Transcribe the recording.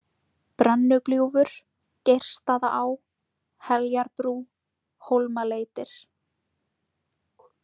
Brennugljúfur, Geirsstaðaá, Heljarbrú, Hólmaleitir